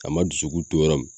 A ma dusukun to yɔrɔ min